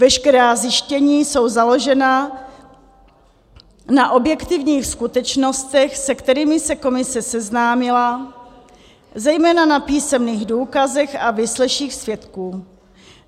Veškerá zjištění jsou založena na objektivních skutečnostech, se kterými se komise seznámila, zejména na písemných důkazech a výsleších svědků.